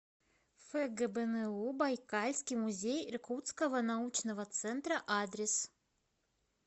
фгбну байкальский музей иркутского научного центра адрес